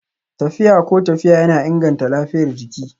Tafiya ko tafiya yana inganta lafiyar jiki